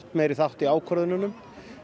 meiri þátt í ákvörðunum